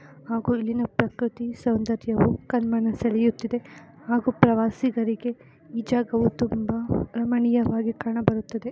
ಹಾಗೂ ಇಲ್ಲಿನ ಪ್ರಕೃತಿ ಸೌದರ್ಯವು ಕಣ್ಮನ ಸಳೆಯುತ್ತಿದೆ ಹಾಗೂ ಪ್ರವಾಸಿಗರಿಗೆ ಈ ಜಾಗವು ತುಂಬಾ ರಮಣೀಯವಾಗಿ ಕಾಣಬರುತ್ತದೆ.